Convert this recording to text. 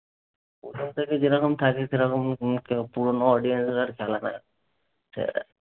ওখান থেকে যে রকম থাকিস সেরকমই পুরনো audience